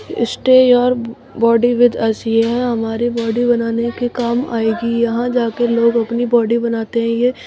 stay your body with us यह हमारी body बनाने के काम आएगी यहां जाके लोग अपनी बॉडी बनाते हैं ये--